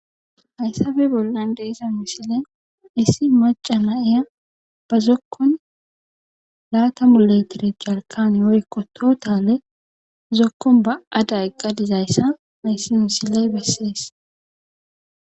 Hayssafe bollan de7iza misiley issi macca nayiya ba zokkon laatamu litire jalkkaane woykko tootale zokkon ba77ada eqqa dizayssa hayssi misiley bessees.